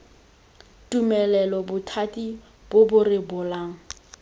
tumelelo bothati bo bo rebolang